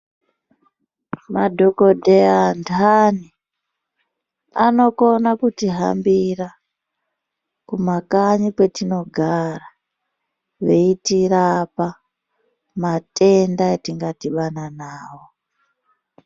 Madhokodheya antani anokona kutihambira kumakanyi kwetinogara veitirapa matenda etingadhibana nawo.